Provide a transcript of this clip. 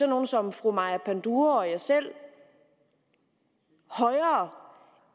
nogle som fru maja panduro og jeg selv højere